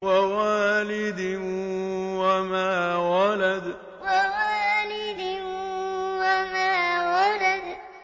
وَوَالِدٍ وَمَا وَلَدَ وَوَالِدٍ وَمَا وَلَدَ